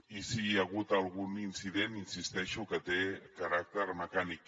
i sí que hi ha hagut algun incident hi insisteixo que té caràcter mecànic